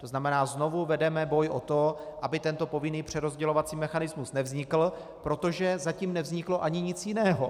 To znamená, znovu vedeme boj o to, aby tento povinný přerozdělovací mechanismus nevznikl, protože zatím nevzniklo ani nic jiného.